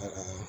A ka